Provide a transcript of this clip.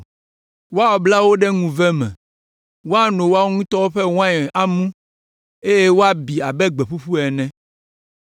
Woabla wo ɖe ŋuve me, woano woawo ŋutɔ ƒe wain amu, eye woabi abe gbe ƒuƒu ene.